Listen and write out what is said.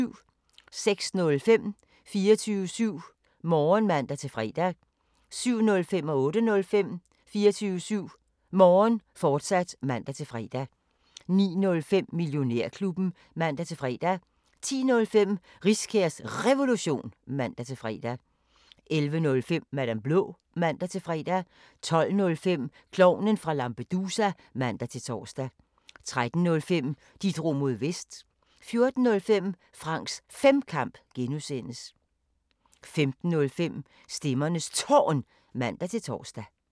06:05: 24syv Morgen (man-fre) 07:05: 24syv Morgen, fortsat (man-fre) 08:05: 24syv Morgen, fortsat (man-fre) 09:05: Millionærklubben (man-fre) 10:05: Riskærs Revolution (man-fre) 11:05: Madam Blå (man-fre) 12:05: Klovnen fra Lampedusa (man-tor) 13:05: De drog mod Vest 14:05: Franks Femkamp (G) 15:05: Stemmernes Tårn (man-tor)